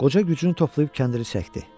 Qoca gücünü toplayıb kəndiri çəkdi.